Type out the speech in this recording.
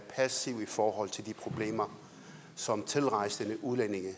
passiv i forhold til de problemer som tilrejsende udlændinge